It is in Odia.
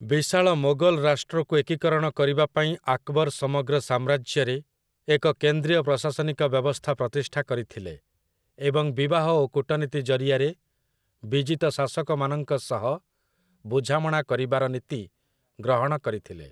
ବିଶାଳ ମୋଗଲ୍ ରାଷ୍ଟ୍ରକୁ ଏକୀକରଣ କରିବା ପାଇଁ ଆକ୍‌ବର୍ ସମଗ୍ର ସାମ୍ରାଜ୍ୟରେ ଏକ କେନ୍ଦ୍ରୀୟ ପ୍ରଶାସନିକ ବ୍ୟବସ୍ଥା ପ୍ରତିଷ୍ଠା କରିଥିଲେ ଏବଂ ବିବାହ ଓ କୂଟନୀତି ଜରିଆରେ ବିଜିତ ଶାସକମାନଙ୍କ ସହ ବୁଝାମଣା କରିବାର ନୀତି ଗ୍ରହଣ କରିଥିଲେ ।